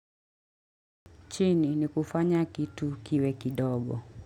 Chini ni kufanya kitu kiwe kidogo.